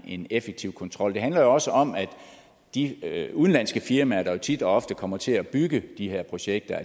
en effektiv kontrol det handler jo også om at de udenlandske firmaer der jo tit og ofte kommer til at bygge de her projekter